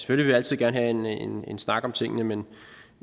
vil vi altid gerne have en snak om tingene men